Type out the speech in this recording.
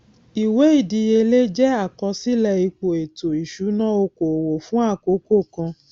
ìwé ìdíyelé jẹ àkọsílẹ ipò ètò ìṣúná oko òwò fún àkókò kan